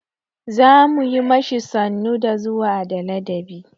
Za mu yi ma shi sannu da zuwa da ladabi.